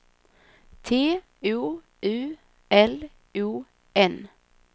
T O U L O N